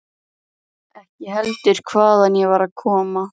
Ekki heldur hvaðan ég var að koma.